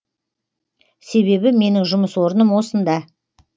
себебі менің жұмыс орным осында